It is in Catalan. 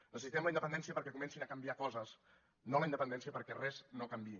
necessitem la independència perquè comencin a canviar coses no la independència perquè res no canviï